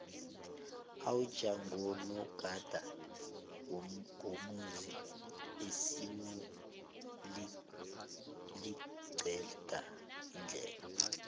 iwja ngunogada womuzi isimu liqeda indlala